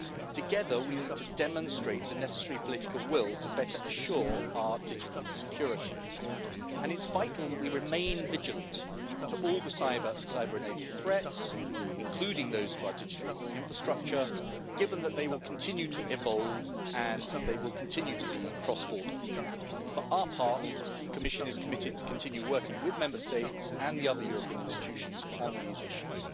Together, we need to demonstrate the necessary political will to better assure our digital security, and it's vital that we remain vigilant to all the cyber and cyber-enabled threats, including those to our digital infrastructure, given that they will continue to evolve and they will continue to be cross border. For our part, the Commission is committed to continue working with Member States and the other European institutions on these issues.